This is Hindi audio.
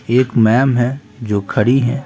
एक मैम है जो खड़ी हैं।